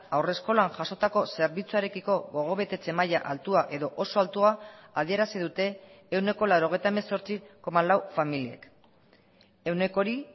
haurreskolan jasotako zerbitzuarekiko gogobetetze maila altua edo oso altua adierazi dute ehuneko laurogeita hemezortzi koma lau familiek ehuneko hori